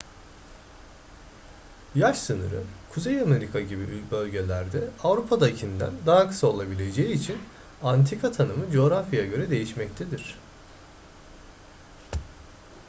yaş sınırı kuzey amerika gibi bölgelerde avrupa'dakinden daha kısa olabileceği için antika tanımı coğrafyaya göre değişmektedir